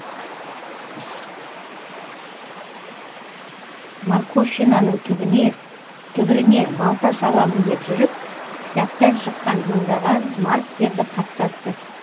марковщинаның түбіріне балта шабамын деп жүріп кітаптан шыққан мыңдаған марктерді қаптатты